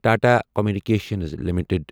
Tata communications limited